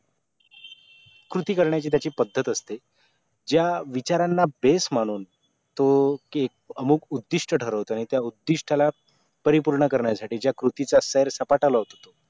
कृती करणायची त्याची पद्धत असते ज्या विचारांना base मानून तो एक अमुक उधिष्ट ठरवतय त्या उद्दिष्टाला परिपूर्ण करण्यासाठी ज्या कृतीचा शेर सपाटा लावतो तो